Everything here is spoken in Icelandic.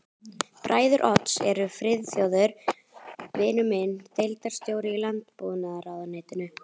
Bræður Odds eru Friðþjófur vinur minn, deildarstjóri í landbúnaðarráðuneytinu